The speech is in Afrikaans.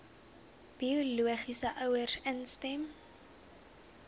biologiese ouers instem